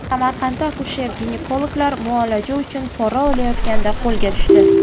Samarqandda akusher-ginekologlar muolaja uchun pora olayotganda qo‘lga tushdi .